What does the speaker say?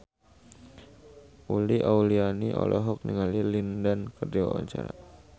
Uli Auliani olohok ningali Lin Dan keur diwawancara